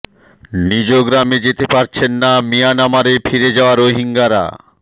নিজ গ্রামে যেতে পারছেন না মিয়ানমারে ফিরে যাওয়া রোহিঙ্গারা